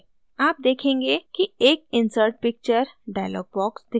आप देखेंगे कि एक insert picture dialog box दिखाई देता है